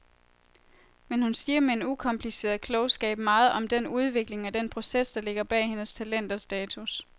Men hun siger med en ukompliceret klogskab meget om den udvikling og den proces, der ligger bag hendes talent og status.